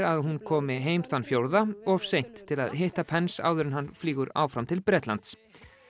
að hún komi heim þann fjórða of seint til að hitta áður en hann flýgur áfram til Bretlands